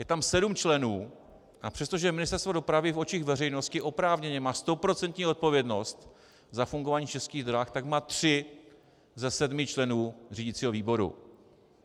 Je tam sedm členů, a přestože Ministerstvo dopravy v očích veřejnosti oprávněně má stoprocentní odpovědnost za fungování Českých drah, tak má tři ze sedmi členů řídicího výboru.